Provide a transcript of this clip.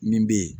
Min bɛ yen